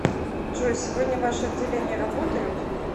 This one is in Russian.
джой сегодня ваши отделения работают